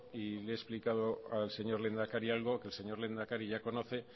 y le he explicado al señor lehendakari algo que el señor lehendakari ya conoce